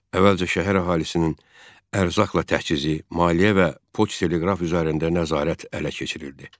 Əvvəlcə şəhər əhalisinin ərzaqla təchizi, maliyyə və poçt-teleqraf üzərində nəzarət ələ keçirildi.